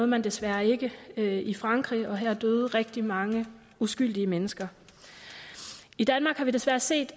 man desværre ikke i frankrig og her døde rigtig mange uskyldige mennesker i danmark har vi desværre set